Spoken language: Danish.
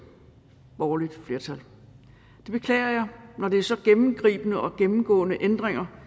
borgerligt flertal det beklager jeg når det er så gennemgribende og gennemgående ændringer